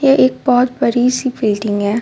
ये एक बहोत बड़ी सी बिल्डिंग है.